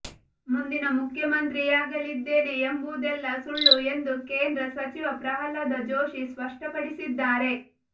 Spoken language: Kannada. ಮುಂದಿನ ಮುಖ್ಯಮಂತ್ರಿಯಾಗಲಿದ್ದೇನೆ ಎಂಬುದೆಲ್ಲ ಸುಳ್ಳು ಎಂದು ಕೇಂದ್ರ ಸಚಿವ ಪ್ರಹ್ಲಾದ ಜೋಶಿ ಸ್ಪಷ್ಟಪಡಿಸಿದ್ದಾರೆ